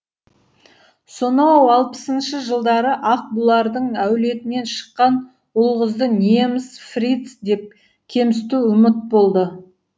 сонау алпысыншы жылдары ақ бұлардың әулетінен шыққан ұл қызды неміс фриц деп кемсіту ұмыт болды